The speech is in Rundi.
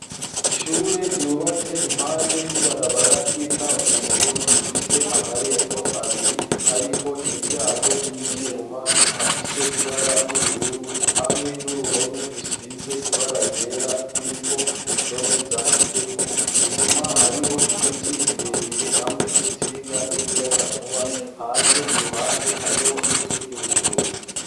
Ishure ryubatse impande y'ibarabara ry'ikaburimbo rifise amarembo abiri, ariko imiryango y'ivyuma afise ibara ry'ubururu hamwe n'uruhome rusize ibara ryera ruriko indome zanditseko inyuma hariho ibiti birebire hamwe n'insinga z'umuyaga nkuba hanze iruhande hariho n'inzu y'ubucuruzi.